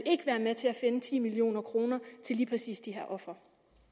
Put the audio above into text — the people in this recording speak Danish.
være med til at finde ti million kroner til lige præcis de her ofre